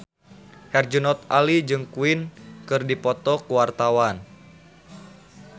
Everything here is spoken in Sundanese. Herjunot Ali jeung Queen keur dipoto ku wartawan